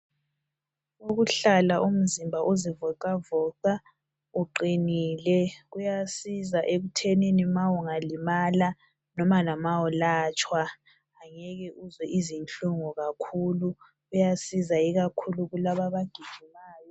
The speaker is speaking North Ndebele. Ukuhlala umzimba uzivoxavoxa ,uqinile kuyazisa ekuthenini maungalimala .Noma lama ulatshwa ngeke uzwe izinhlungu kakhulu, kuyasiza ikakhulu kulaba abagijimayo.